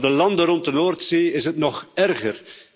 Voor de landen rond de Noordzee is het nog erger.